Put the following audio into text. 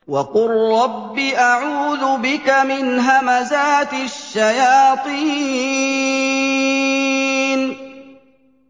وَقُل رَّبِّ أَعُوذُ بِكَ مِنْ هَمَزَاتِ الشَّيَاطِينِ